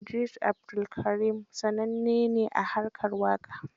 Idris Abdulkarim sananne ne a harkar waƙa.